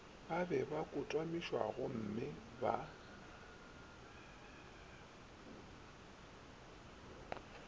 ba be ba kotamišwagomme ba